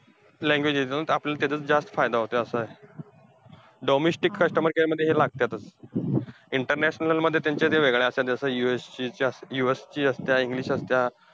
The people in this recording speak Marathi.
Language येतात त्याचा आपल्याला जास्त फायदा होतोय असंय. Domestic customer care मध्ये तर लागत्यातचं international मध्ये त्यांच्या त्या वेगळ्या असत्यात, US ची~ च्या US असत्या english असत्या.